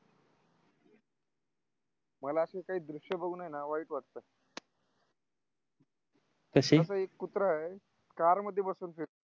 मला अस काही दृश्य बघून न वाईट वाटत अस एक कुत्रा आहे कार मध्ये बसून